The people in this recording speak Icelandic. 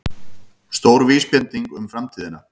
Stór vísbending um framtíðina